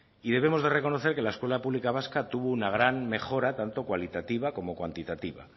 y debemos de reconocer que la escuela pública vasca tuvo una gran mejora tanto cualitativa como cuantitativa